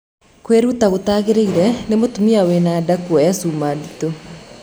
Kwiruta gũtagĩrĩire ni mũtumia wina na nda kũoya cuma ndĩtũ